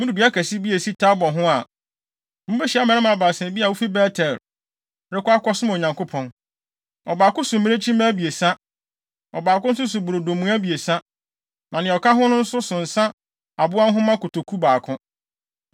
“Mudu dua kɛse bi a esi Tabor ho a, mubehyia mmarima baasa bi a wofi Bet-El rekɔ akɔsom Onyankopɔn. Ɔbaako so mmirekyi mma abiɛsa, ɔbaako nso so brodo mua abiɛsa, na nea ɔka ho no nso so nsa aboa nhoma kotoku baako.